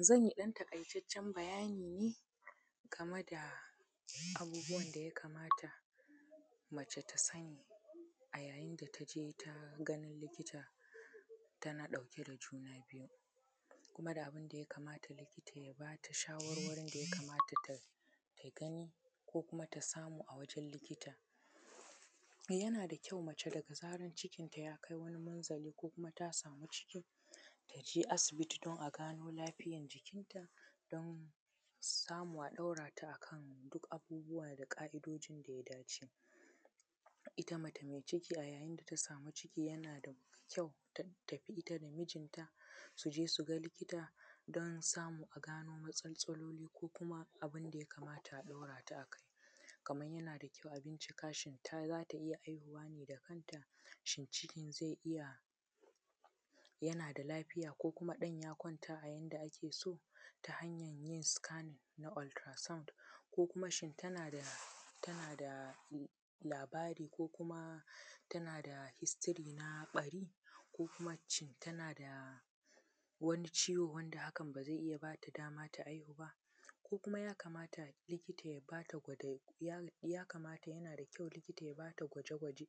Zan yi ɗan taƙaitaccen bayani game da abubuwan da yaka mata mace ta sani a yayin da taje ta ganin likita tana ɗauke da juna biyu kuma da abin da ya kamata likita ya bata shawarwarin da ya kamata ta gani ko kuma ta samu a wajen likita, yana da kyau mace da zaran cikin ta yakai wani manzali ko kuma ta samu cikin ta je asibiti don a gano lafiyan jikin ta don samu a ɗorata akan duk abubuwa da ƙa`idojin da ya dace, ita mace mai ciki a yayin da samu ciki yana da kyau ta tafi ita da mijinta su je su ga likita don samu a gano wasu matsatstsaloli ko kuma abin da ya kamata a ɗora ta a kai kaman yana da kyau a bincika shin ta za a ta iya haihuwa ne da kanta, shin cikin zai iya yana da lafiya ko kuma ɗan ya kwanta a yanda ake so ta hanyan yin “scanning” na” ultra sound” ko kuma shin tana da tana da labara ko kuma tana da “history” a ɓari ko kuma shin tana da wani ciwo wanda hakan ba zai bata dama ta haihu ba? Ko kuma ya kamata likita ya bata gwado ya ya kamata yana da kyau likita ya bata gwaje gwaje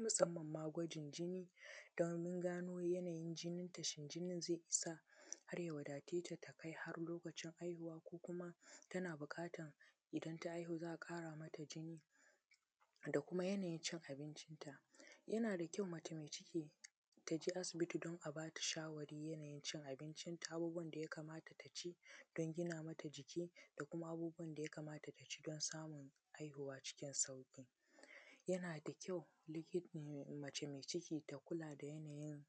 masamman ma gwajin jini don gano yanayin jinnin ta shin jinin zai isa har ya wadaceta ta kai har lokaci haihuwa ko kuma tana buƙatan idan ta haihu a ƙara mata jinni da kuma yanayi cin abincin ta, yana da kyau mace mai ciki ta je asibiti don a bata shawarwarin yanayin cin abincin ta abubuwan da ya kamata ta ci don gina mata jiki da kuma abubuwan da yakamata ta ci don samun haihu cikin sauƙi, yana da kyau liki mace mai ciki ta kula da yanayin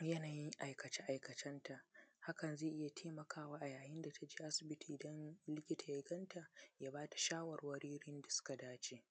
yanayin aikace aikacen ta hakan zai iya taimakawa a yayin da ta je asibiti dan likita ya ganta ya bata shawarwari da yanda suka dace.